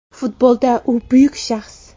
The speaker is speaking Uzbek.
Futbolda u buyuk shaxs.